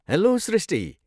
Hello Srushti!